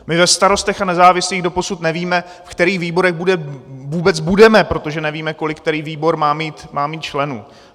My ve Starostech a nezávislých doposud nevíme, ve kterých výborech vůbec budeme, protože nevíme, kolik který výbor má mít členů.